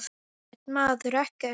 Ekkert, maður, ekkert.